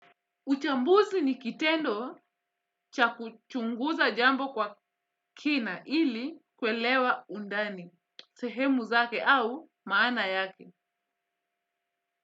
Uchambuzi ni kitendo cha kuchunguza jambo kwa kina ili kuelewa undani. Sehemu zake au maana yake.